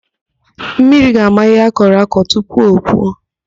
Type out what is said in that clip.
Mmiri ga-ama ihe akọrọ akọ tupu o puo.